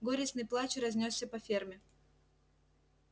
горестный плач разнёсся по ферме